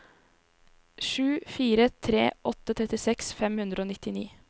sju fire tre åtte trettiseks fem hundre og nittini